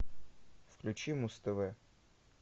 включи муз тв